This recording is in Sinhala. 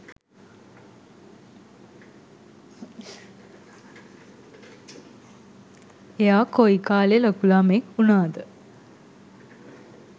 එයා කොයි කාලෙ ලොකු ළමයෙක් වුනාද